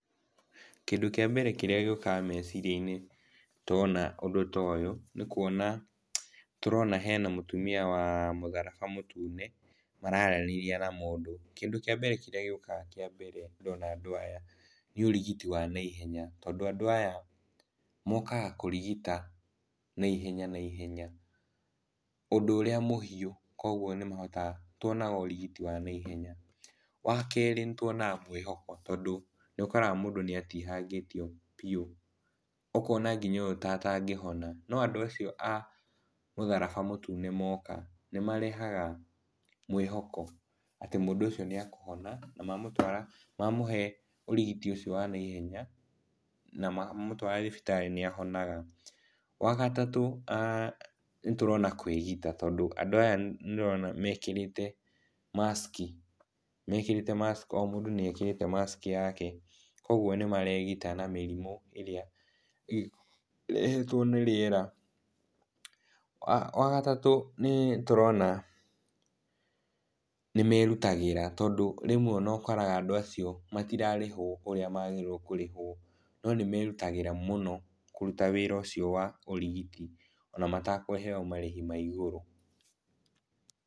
Kĩndũ kĩa mbere kĩrĩa gĩũkaga meciria-inĩ ndona ũndũ ta ũyũ nĩkuona tũrona hena mũtumia wa mũtharaba mũtune mararanĩria na mũndũ. Kĩndũ kĩa mbere kĩrĩa gĩũkaga kĩa mbere ndona andũ aya nĩ ũrigiti wa naihenya, tondũ andũ aya mokaga kũrigita naihenya naihenya ũndũ ũrĩa mũhiũ, koguo nĩmahotaga, nĩtuonaga ũrigiti wa naihenya. Wa kerĩ, nĩtuonaga mwĩhoko tondũ nĩũkoraga mũndũ nĩatihangĩtio biũ ũkona ta mũndũ ũyũ atangĩhona no andu acio a mũtharaba mũtune moka nĩmarehaga mwĩhoko atĩ mũndũ ũcio nĩekũhona na mamũhe ũrigiti ũcio wa naihenya na mamũtwara thibitarĩ nĩahonaga. Wagatatũ nĩtũrona kwĩgita tondũ andũ aya ndĩrona mekĩrĩte maski, o mũndũ nĩekĩrĩte maski yake koguo nĩmaregita na mĩrimũ ĩrĩa ĩrehetwo nĩ rĩera. Wa gatatũ, nĩtũrona nĩmerutagĩra, rĩmwe ona ũkoraga andũ acio matirarĩhwo ũrĩa magĩrĩirwo nĩ kũrĩhwo no nĩmerutagĩra mũno kũruta wĩra ũcio wa ũrigiti ona matakũheyo marĩhi ma igũrũ.